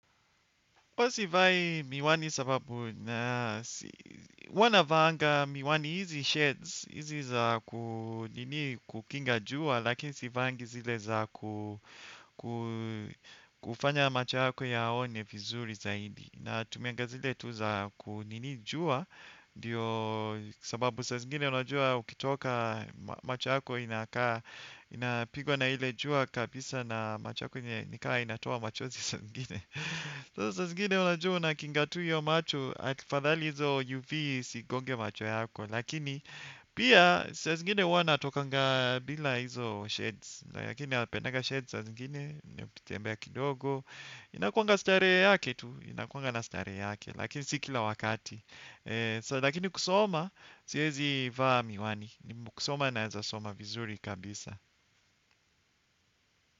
Huwa sivai miwani sababu na huwa navaanga miwani hizi sheds, hizi za kunini kukinga jua, lakini sivaangi zile za kufanya macha yako yaone vizuri zaidi. Natumianga zile tu za kunini jua, ndiyo sababu sa zingine unajua ukitoka macho yako inakaa, inapigwa na ile jua kabisa na macho yako nikaa inatoa machozi saa zingine. So saa zingine unajua huwa unakinga tu hiyo macho afadhali hizo nyuki isigonge macho yako lakini pia sa zingine huwa natokanga bila hizo sheds lakini napendanga sheds saa zingine nikitembe kidogo inakuanga starehe yake tu inakuanga na starehe yake lakini si kila wakati lakini kusoma siwezi vaa miwani ni kusoma naweza soma vizuri kabisa.